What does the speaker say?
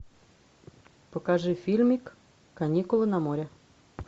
покажи фильмик каникулы на море